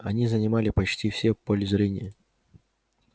они занимали почти все поле зрения